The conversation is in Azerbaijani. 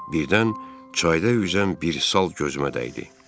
Birdən çayda üzən bir sal gözümə dəydi.